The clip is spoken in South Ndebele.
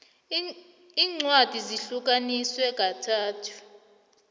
incwadi zihlukaniswe kathathu